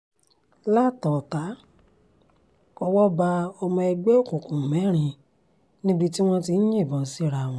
látàn-ọ̀tá owó bá ọmọ ẹgbẹ́ òkùnkùn mẹ́rin níbi tí wọ́n ti ń yìnbọn síra wọn